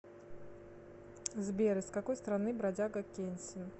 сбер из какой страны бродяга кенсин